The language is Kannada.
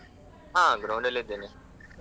ಹ ground ಅಲ್ಲಿದ್ದೇನೆ.